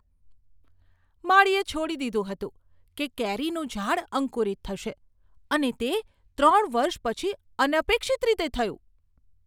માળીએ છોડી દીધું હતું કે કેરીનું ઝાડ અંકુરિત થશે, અને તે ત્રણ વર્ષ પછી અનપેક્ષિત રીતે થયું.